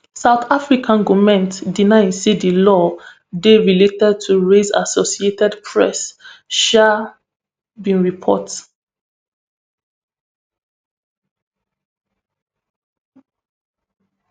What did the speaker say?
south african goment deny say di law dey related to race associated press um bin report